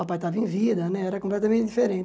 O papai estava em vida né, era completamente diferente.